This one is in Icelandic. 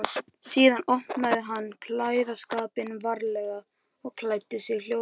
Síðan opnaði hann klæðaskápinn varlega og klæddi sig hljóðlega.